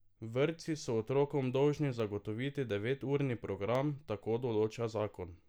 Vrtci so otrokom dolžni zagotoviti deveturni program, tako določa zakon.